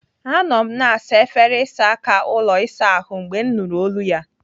Anọ m na-asa efere ịsa aka ụlọ ịsa ahụ mgbe m nụrụ olu ya.